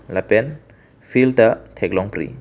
lapen field ta theklong pri.